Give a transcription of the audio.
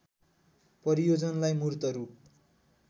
परियोजनालाई मूर्त रूप